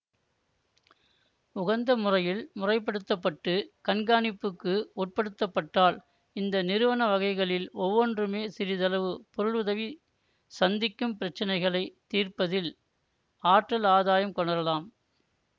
உகந்த முறையில் முறைப்படுத்தப்பட்டு கண்காணிப்புக்கு உட்படுத்தப்பட்டால் இந்த நிறுவன வகைகளில் ஒவ்வொன்றுமே சிறிதளவு பொருளுதவி சந்திக்கும் பிரச்சினைகளைத் தீர்ப்பதில் ஆற்றல் ஆதாயம் கொணரலாம்